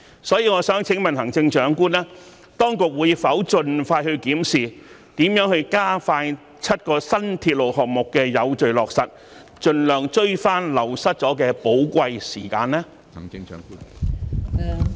所以，我想請問行政長官，當局會否盡快檢視如何加快7項新鐵路項目的有序落實，盡量追回流失了的寶貴時間呢？